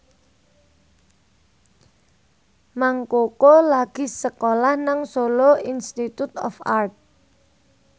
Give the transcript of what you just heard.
Mang Koko lagi sekolah nang Solo Institute of Art